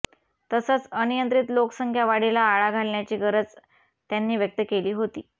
तसंच अनियंत्रित लोकसंख्या वाढीला आळा घालण्याची गरजही त्यांनी व्यक्त केली होती